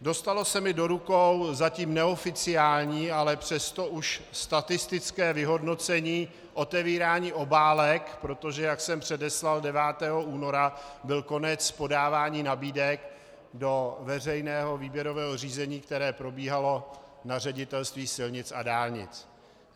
Dostalo se mi do rukou zatím neoficiální, ale přesto už statistické vyhodnocení otevírání obálek, protože jak jsem předeslal, 9. února byl konec podávání nabídek do veřejného výběrového řízení, které probíhalo na Ředitelství silnic a dálnic.